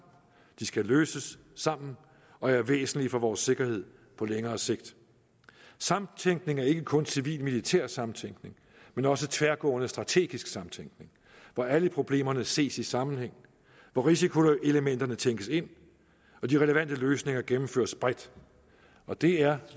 de skal løses sammen og er væsentlige for vores sikkerhed på længere sigt samtænkning er ikke kun civil militær samtænkning men også tværgående strategisk samtænkning hvor alle problemerne ses i sammenhæng hvor risikoelementerne tænkes ind og de relevante løsninger gennemføres bredt og det er